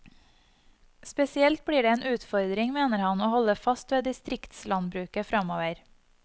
Spesielt blir det en utfordring, mener han, å holde fast ved distriktslandbruket framover.